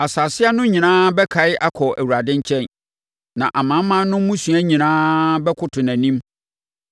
Asase ano nyinaa bɛkae akɔ Awurade nkyɛn, na amanaman no mmusua nyinaa bɛkoto nʼanim,